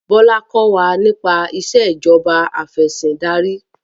Bola kọ wá nípa Ìṣèjọba Afẹ̀sìndarí